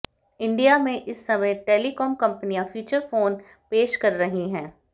India में इस समय टेलीकॉम कंपनियां फीचर फोन पेश कर रही हैं